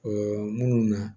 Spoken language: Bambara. minnu na